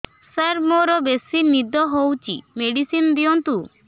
ସାର ମୋରୋ ବେସି ନିଦ ହଉଚି ମେଡିସିନ ଦିଅନ୍ତୁ